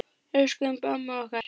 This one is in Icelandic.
Elsku Imba amma okkar.